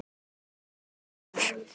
Ertu með hús þar?